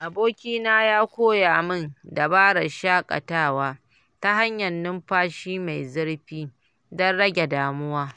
Abokina ya koya min dabarar shakatawa ta hanyar numfashi mai zurfi don rage damuwa.